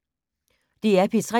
DR P3